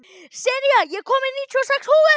Senía, ég kom með níutíu og sex húfur!